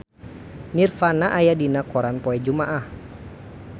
Nirvana aya dina koran poe Jumaah